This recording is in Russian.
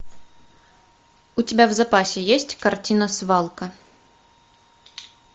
у тебя в запасе есть картина свалка